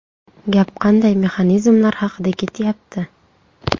Gap qanday mexanizmlar haqida ketyapti?